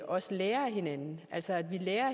også lærer af hinanden altså at vi lærer